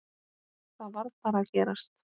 Það varð bara að gerast.